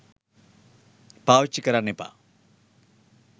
පාවිච්චි කරන්න එපා